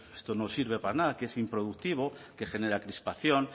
esto no sirve para nada que es improductivo que genera crispación